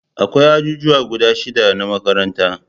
Akwai ajijuwa guda shida na makaranta